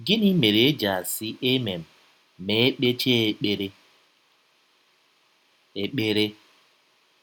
Gịnị mere e ji asị “ amen ” ma e kpechaa ekpere? ekpere?